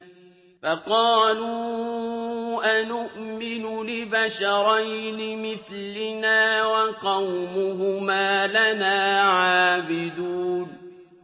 فَقَالُوا أَنُؤْمِنُ لِبَشَرَيْنِ مِثْلِنَا وَقَوْمُهُمَا لَنَا عَابِدُونَ